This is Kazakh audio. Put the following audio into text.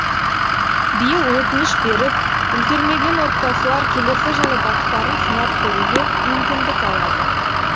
биыл өтініш беріп үлгермеген отбасылар келесі жылы бақтарын сынап көруге мүмкіндік алады